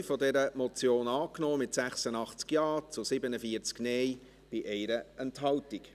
Sie haben den Punkt 2 dieser Motion angenommen, mit 86 Ja- gegen 47 Nein-Stimmen bei 1 Enthaltung.